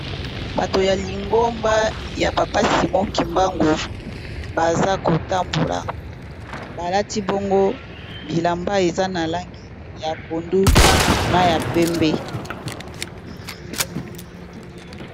Bato ya lingomba ya papasi moki mbango baza kotambola, balati bongo bilamba eza na langi ya pondu na ya pembe.